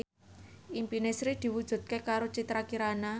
impine Sri diwujudke karo Citra Kirana